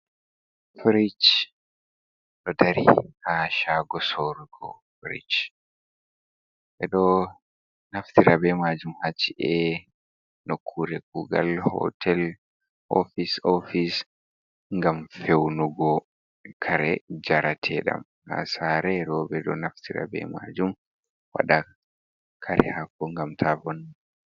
"Firish" ɗo dari ha shago sorugo firish ɓeɗo naftira ɓe majum ha chi’e nokkure kugal hotel ofis ofis ngam feunugo kare njarateɗam ha saare ɓo ɓeɗo naftira be majum waɗa kare hako ngam tabonna.